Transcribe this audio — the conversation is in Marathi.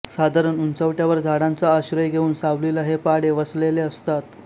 साधारण उंचवट्यावर झाडांचा आश्रय घेऊन सावलीला हे पाडे वसलेले असतात